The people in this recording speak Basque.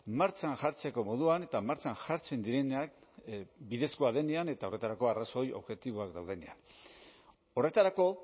martxan jartzeko moduan eta martxan jartzen direnak bidezkoa denean eta horretarako arrazoi objektiboak daudenean horretarako